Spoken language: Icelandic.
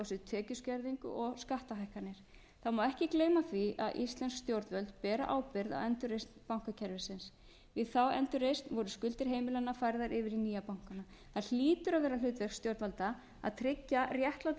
sig tekjuskerðingu og skattahækkanir þá má ekki gleyma því að íslensk stjórnvöld bera ábyrgð á endurreisn bankakerfisins við þá endurreisn voru skuldir heimilanna færðar yfir í nýju bankanna það hlýtur að vera hlutverk stjórnvalda að tryggja réttláta